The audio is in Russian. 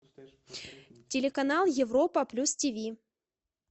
телеканал европа плюс ти ви